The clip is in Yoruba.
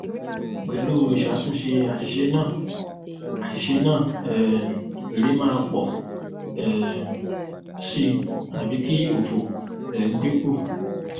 pelu isatunse asise naa asise naa um ere maa po um si abi ki ofo um dinku